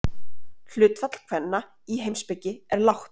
Hlutfall kvenna í heimspeki er lágt.